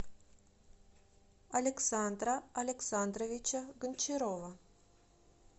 александра александровича гончарова